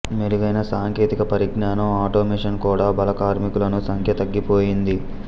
మెరుగైన సాంకేతిక పరిజ్ఞానం ఆటోమేషన్ కూడా బాల కార్మికులను సంఖ్య తగ్గిపోయింది